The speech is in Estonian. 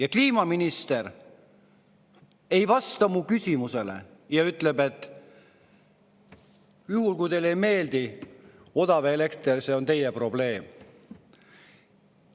Aga kliimaminister ei vastanud mu küsimusele ja ütles: "Juhul kui teile ei meeldi odav elekter, siis see on teie probleem.